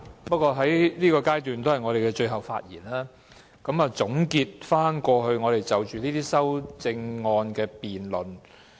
不過，我們在現階段作最後發言，總結過去我們就着這些修正案的辯論。